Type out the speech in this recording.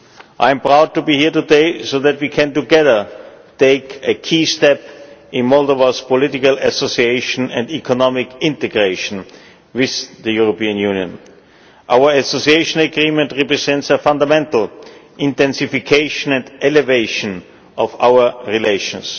I am proud to be here today so that we can together take a key step in Moldova's political association and economic integration with the European Union. Our Association Agreement represents a fundamental intensification and elevation of our relations.